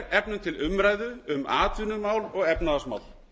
efnum til umræðu um atvinnu og efnahagsmál